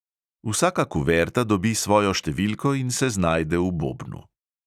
Vsaka kuverta dobi svojo številko in se znajde v bobnu.